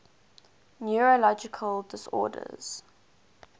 neurological disorders